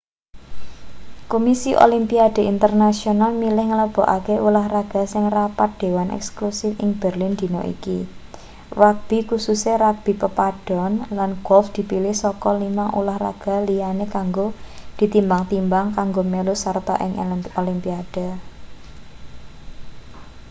kumisi olimpiade internasional milih nglebokake ulahraga ing rapat dewan eksekutif ing berlin dina iki rugbi kususe rugbi pepadon lan golf dipilih saka limang ulahraga liyane kanggo ditimbang-timbang kanggo melu sarta ing olimpiade